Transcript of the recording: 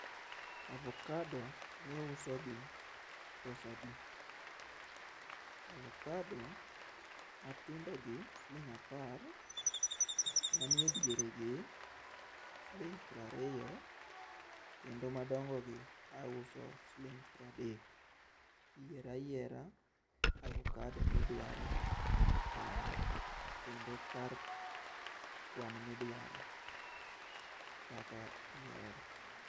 Avokado ma iuso gi pesa adi? Avokado matindo gi siling apar, manie diere gi siling piero ariyo kendo madongo gi auso siling piero adek. Yier ayiera avokado midwaro kanyo kendo kar kwan midwaro kaka ihero